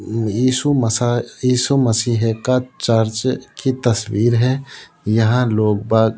येसु मसा येसु मर्सीये का चर्च की तस्वीर है यहां लोग बाहर --